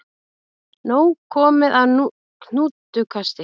Nóg komið af hnútukasti